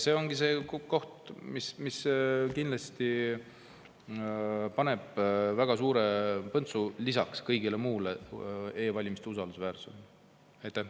See ongi lisaks kõigele muule asi, mis kindlasti paneb väga suure põntsu e-valimiste usaldusväärsusele.